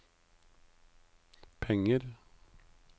penger